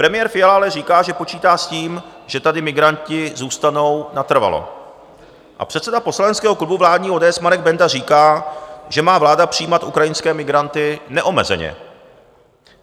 Premiér Fiala ale říká, že počítá s tím, že tady migranti zůstanou natrvalo, a předseda poslaneckého klubu vládní ODS Marek Benda říká, že má vláda přijímat ukrajinské migranty neomezeně.